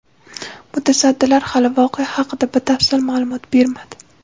Mutasaddilar hali voqea haqida batafsil ma’lumot bermadi.